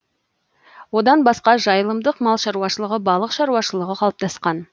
одан басқа жайылымдық мал шаруашылығы балық шаруашылығы қалыптасқан